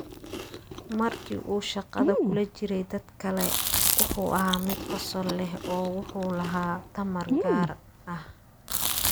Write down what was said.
"Markii uu shaqada kula jiray dadka kale, wuxuu ahaa mid qosol leh oo wuxuu lahaa tamar gaar ah.